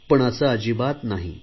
पण असे अजिबात नाही